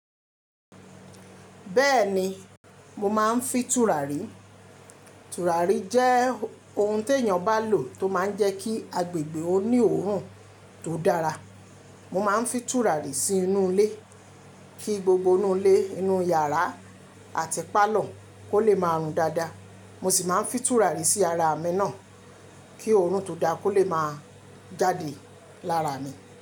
Bẹ́ẹ̀ni, mo máa ń fi tùràrí. Tùràrí jẹ́ ohun tí èèyàn bá lò tó máa ń jẹ́ kí agbègbè òní oòrùn tó dára. Mo máa ń fi tùràrí sínú ilé, kí gbogbo inú ilé, inú yàrá àti pálọ̀ kó lè máa rùn dáadáa. Mo sì máa ń fi tùràrí sí ara àmì náà, kí òórùn tó dáa kó lè máa jáde lára mi.